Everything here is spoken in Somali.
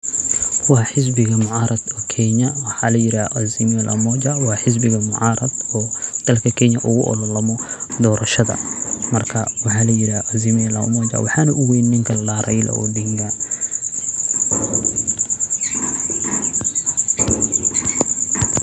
Waa xisbiga mucaarad oo Kenya. waxa li yiraa AZIMIO LA UMOJA Waa xisbiga mucaarad oo dalka Kenya ugu ololamo doorashada markaa waxa li yiraa AZIMIO LA UMOJA . Waxaan u weyn ninko ladaxa Raila Odinga.